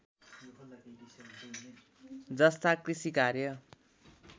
जस्ता कृषि कार्य